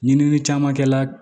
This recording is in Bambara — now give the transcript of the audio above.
Ɲini caman kɛla